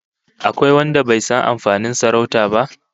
Akwai wanda bai san amfanin sarauta ba?